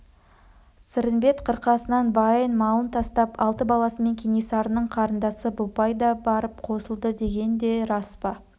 сырымбет қырқасынан байын малын тастап алты баласымен кенесарының қарындасы бопай да барып қосылды деген де рас па